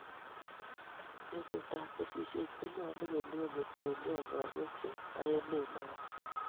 betutap kesisyet konyolu kelewen kotiengei igorwek che bo emet noto